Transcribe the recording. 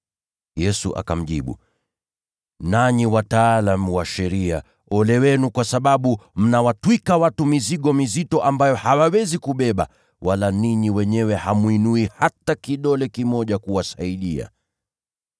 Yesu akamjibu, “Nanyi wataalamu wa sheria, ole wenu, kwa sababu mnawatwika watu mizigo mizito ambayo hawawezi kubeba, wala ninyi wenyewe hamwinui hata kidole kimoja kuwasaidia.